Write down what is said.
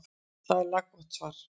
Þetta er laggott svar.